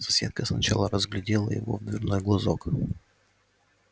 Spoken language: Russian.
соседка сначала разглядела его в дверной глазок